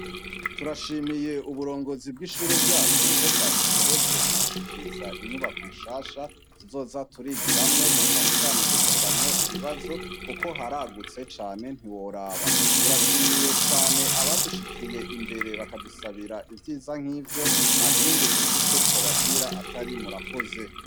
Turashimiye uburongozi bishure ko bwadushoboje kudushikiriza inyubakwa nshasha tuzoza turigiramwo nacane cane dukoreramwo ibibazo kuko haragutse cane ntiworaba turashimiye cane abadushikiye imbere bakadusabira ivyiza nkivyo ntakindi twobabwira atari murakoze